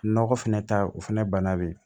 Nɔgɔ fɛnɛ ta o fɛnɛ banna bi